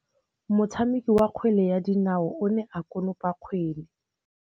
Motshameki wa kgwele ya dinaô o ne a konopa kgwele.